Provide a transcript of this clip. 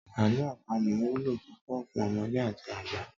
Àlọ́ àpamọ wúlò púpọ̀ fún ọmọdé àti àgbà.